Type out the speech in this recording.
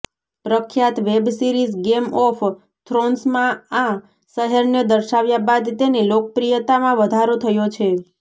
પ્રખ્યાત web series game of થ્રોન્સમાં આ શહેરને દર્શાવ્યા બાદ તેની લોકપ્રિયતામાં વધારો થયો છે